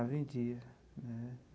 Ah, vendia.